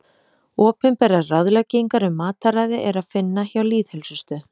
Opinberar ráðleggingar um mataræði er að finna hjá Lýðheilsustöð.